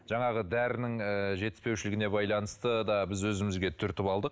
жаңағы дәрінің ыыы жетіспеушілігіне байланысты да біз өзімізге түртіп алдық